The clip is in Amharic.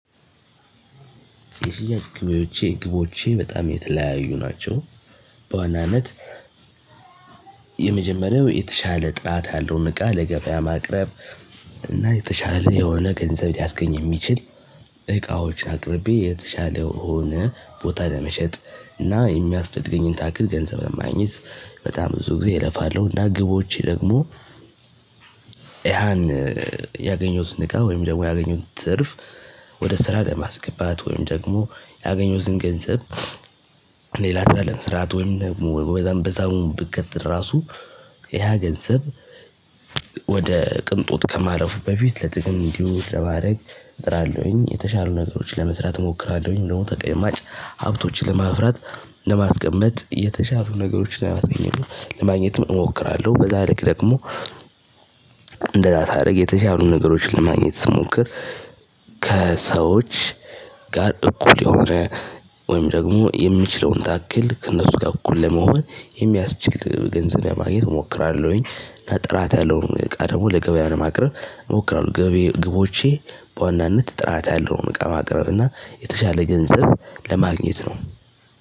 የሽያጭ ግቦቼ ግቦቼ በጣም የተለያዩ ናቸው። በዋናነት የመጀመሪያው የተሻለ ጥራት ያለውን እቃ ለገበያ ማቅረብ። እና የተሻለ የሆነ ገንዘብ ሊያስገኝ የሚችል እቃዎችን አቅርቤ የተሻለው ሆነ ቦታ ለመሸጥ እና የሚያስፈልገኝን ታክል ገንዘብ ለማግኘት በጣም ብዙ ጊዜ እለፋለሁ። እና ግቦቼ ደግሞ ያን ያገኘውትን እቃ ወይም ደግሞ ያገኘውት ትርፍ ወደ ስራ ለማስገባት ወይም ደግሞ ያገኘሁትን ገንዘብ ሌላ ስራ ለመስራት ወይም ደግሞ በዛም በዛም ብቀጥል ራሱ ያ ገንዘብ ወደ ቅንጦት ከማረፉ በፊት ለጥቅም እንዲውል ለማድረግ እጥራለሁኝ። የተሻሉ ነገሮችን ለመስራት እሞክራለሁኝ። ደግሞ ተቀማጭ ሀብቶችን ለማፍራት ለማስቀመጥ የተሻሉ ነገሮችን ለማስገኘት ለማግኘትም እሞክራለሁ። በዛ ልክ ደግሞ እንደዛ ሳረግ የተሻሉ ነገሮችን ለማግኘት ስሞክር ከሰዎች ጋር እኩል የሆነ ወይም ደግሞ የምችለውን ታክል ከእነሱ ጋር እኩል ለመሆን የሚያስችል ገንዘብ ለማግኘት እሞክራለሁኝ። እና ጥራት ያለውን እቃ ደግሞ ለገበያ ለማቅረብ እሞክራለሁ። ገብዬ ግቦቼ በዋናነት ጥራት ያለውን እቃ ማቅረብና የተሻለ ገንዘብ ለማግኘት ነው።